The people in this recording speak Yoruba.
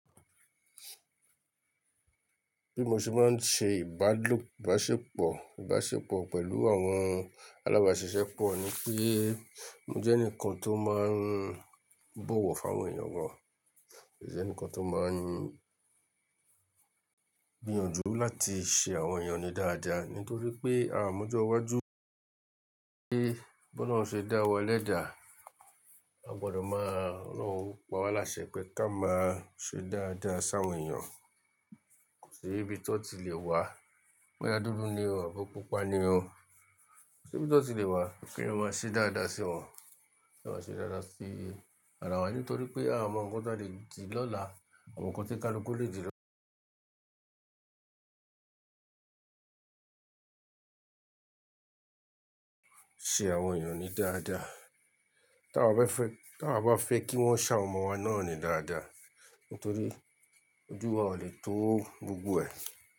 Bí mo ṣe máa ń ṣe ìbálòpọ̀, ìbáṣepọ̀, ìbáṣepọ̀ pẹ̀lú àwọn alábàṣiṣẹ́ pọ̀ ni pé mo jẹ́ ẹnìkan tó máa ń bọ̀wọ̀ fún àwọn èèyàn gan, mo jẹ́ ẹnìkan tó máa ń gbìyànjú láti ṣe àwọn èèyàn ni dáadáa nítorí pé à mójo iwájú pé bólorun ṣe dá wa lẹ́dà, a gbọ́dọ̀ máa rán wọ́n pa wá lásẹ pé ká máa ṣe dáadáa sí àwọn èèyàn. Kò sí ibi tí ó ti le wà, bóyá dúdú ni o àbo pupa ni o, ko sibi to ti le wa keeyan má ṣe dáadáa sí wọn, kí a má ṣe dáadáa sí ara wa nítorí pé à mọ nǹkan tí a lè dì lọ́la, à mọ nǹkan tí káluku lè dì lọ́la. Ṣe àwọn èèyàn ní dáadáa tawa bá fẹ́, tawa bá fẹ́ kí wọ́n ṣ'áwon ọmọ wa náà ni dáadáa nítorí ojú wa ò lè tó gbogbo ẹ̀